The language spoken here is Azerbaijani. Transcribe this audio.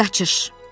Qaçış.